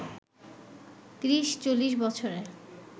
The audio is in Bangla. ৩০-৪০ বছরে